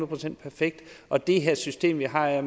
procent perfekt og det system vi har er